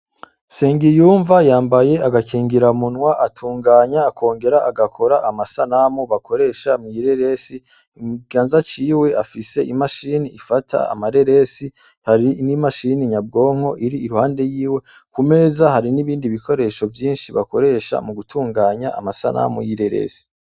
Sengiyumva yambaye agakingiramunwa atunganya akongera agakora amasanamu bakoresha mw'ireresi mukiganza ciwe afise imashini ifata amareresi hari n'imashini nyabwonko iri iruhande yiwe, kumeza hari n'ibindi bikoresho vyinshi bakoresha mu gutunganya amasanamu y'ireresi.